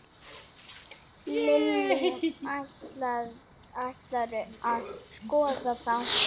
Lillý: Ætlarðu að skoða þá?